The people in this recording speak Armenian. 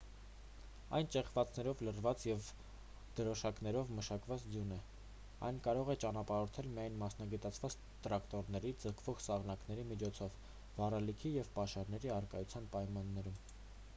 այն ճեղքվածքներով լցված և դրոշներով մակնշված ձյուն է այն կարող է ճանապարհորդել միայն մասնագիտացված տրակտորների ձգվող սահնակների միջոցով վառելիքի և պաշարների առկայության պայմաններում